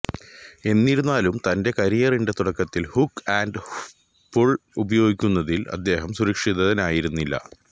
എന്നിരുന്നാലും തന്റെ കരിയറിന്റെ തുടക്കത്തിൽ ഹുക്ക് ആൻഡ് പുൾ ഉപയോഗിക്കുന്നതിൽ അദ്ദേഹം സുരക്ഷിതനായിരുന്നില്ല